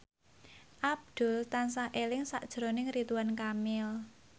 Abdul tansah eling sakjroning Ridwan Kamil